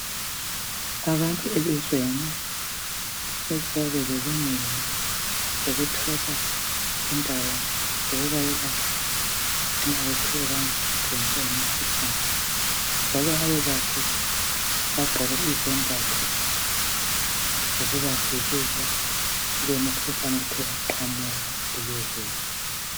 Abantu elizweni kumele babe lelungelo lokuthola indawo zokubayelapha nxa bathe bavelelwa yimikhuhlane. Abelaphi bagqoke izembatho zokubavikela emikhuhlaneni ethe yaqhamuka elizweni.